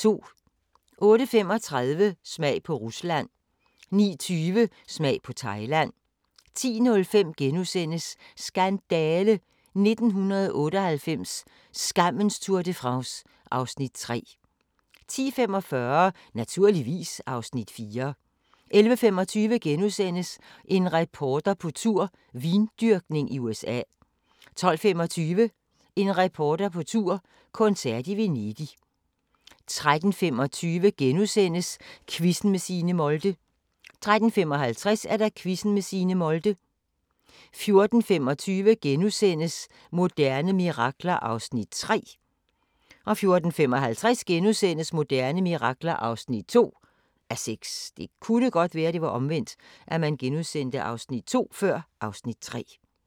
08:35: Smag på Rusland 09:20: Smag på Thailand 10:05: Skandale! - 1998, skammens Tour de France (Afs. 3)* 10:45: Naturligvis (Afs. 4) 11:25: En reporter på tur - vindyrkning i USA * 12:25: En reporter på tur – koncert i Venedig 13:25: Quizzen med Signe Molde * 13:55: Quizzen med Signe Molde 14:25: Moderne mirakler (3:6)* 14:55: Moderne mirakler (2:6)*